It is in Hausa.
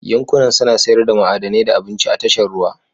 Yankunan suna sayar da ma'adanai da abinci a tashar ruwa